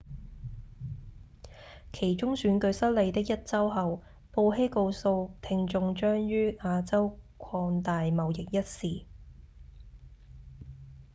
期中選舉失利的一週後布希告訴聽眾將於亞洲擴大貿易一事